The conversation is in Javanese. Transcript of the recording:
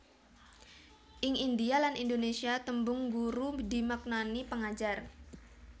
Ing Indhia lan Indonesia tembung guru dimaknani pengajar